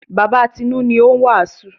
Bàba Tinú ni ó ń wàásù.